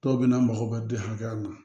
Dɔw bɛ na mako ka di hakɛya na